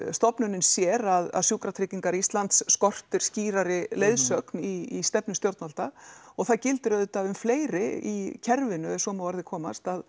stofnunin sér að Sjúkratryggingar Íslands skortir skýrari leiðsögn í stefnu stjórnvalda og það gildir auðvitað um fleiri í kerfinu ef svo má að orði komast